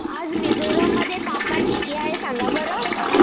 आज मिझोरम मध्ये तापमान किती आहे सांगा बरं